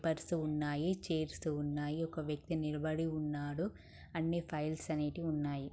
Purse ఉన్నాయి .chairs ఉన్నాయి .ఒక వ్యక్తి నిలబడి ఉన్నాడు .అని ఫైల్స్ అనేవి ఉన్నాయి.